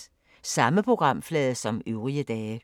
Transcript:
Samme programflade som øvrige dage